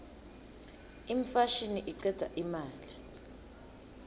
imfashini icedza imali